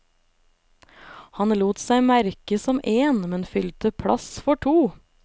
Han lot seg merke som én, men fylte plass for to.